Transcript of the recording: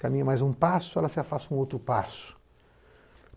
Caminha mais um passo, ela se afasta um outro passo.